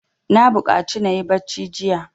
Na buƙaci na yi bacci jiya.